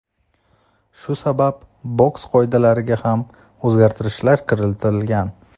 Shu sabab boks qoidalariga ham o‘zgartirishlar kiritilgan.